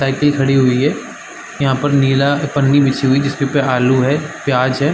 Cycle खड़ी हुई है जहाँ पर नीला पन्नी बीस रुपया आलू है प्याज है ।